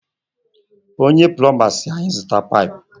Onye pulomba si anyị zụta paipu